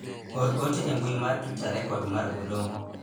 or ote e mbui mar twita rekod mar Oloo